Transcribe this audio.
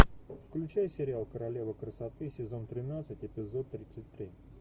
включай сериал королева красоты сезон тринадцать эпизод тридцать три